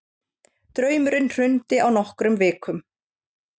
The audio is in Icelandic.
Draumurinn hrundi á nokkrum vikum.